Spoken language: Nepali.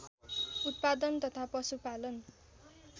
उत्पादन तथा पशुपालन